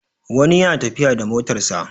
wani yana tafiya da motarsa